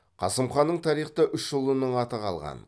қасым ханның тарихта үш ұлының аты қалған